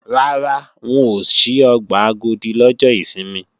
Rárá, wọn ò ṣí ọgbà Agodi lọ́jọ́ ìsinmi